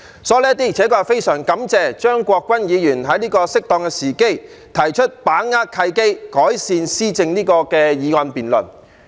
所以，的確非常感謝張國鈞議員在適當時機提出"把握契機，改善施政"議案辯論。